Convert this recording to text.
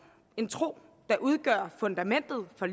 en tro der udgør fundamentet for